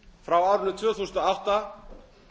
frá árinu tvö þúsund og átta